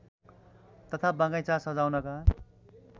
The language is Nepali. तथा बगैँचा सजाउनका